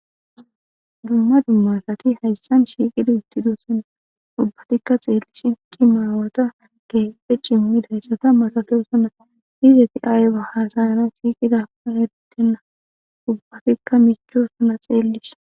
dumma dumma asati hayssan shiiqida uttidosona ubbatikka xeellishin maawota keehipe cimmidayssata masatoosona izeti qa ayba haasayanawu shiiqidakun eretenna ubbatikka michoosona xeellishin.